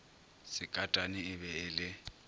sekatane e be e le